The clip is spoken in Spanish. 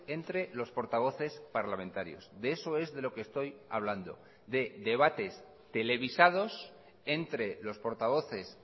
entre los portavoces parlamentarios de eso es de lo que estoy hablando de debates televisados entre los portavoces